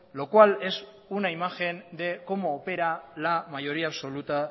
lo cual es una imagen de cómo opera la mayoría absoluta